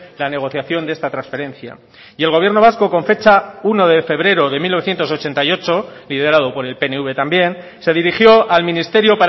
la negociación de esta transferencia y el gobierno vasco con fecha uno de febrero de mil novecientos ochenta y ocho liderado por el pnv también se dirigió al ministerio